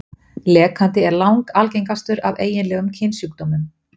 Lekandi er langalgengastur af eiginlegum kynsjúkdómum.